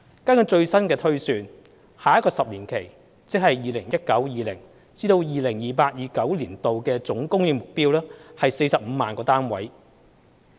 根據最新的推算，下一個10年期的總供應目標為45萬個單位。